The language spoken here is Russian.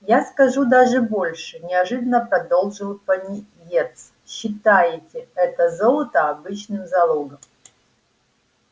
я скажу даже больше неожиданно продолжил пониетс считайте это золото обычным залогом